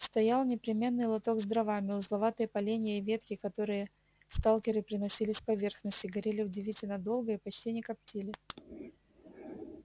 стоял непременный лоток с дровами узловатые поленья и ветки которые сталкеры приносили с поверхности горели удивительно долго и почти не коптили